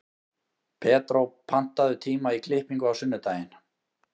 Pedró, pantaðu tíma í klippingu á sunnudaginn.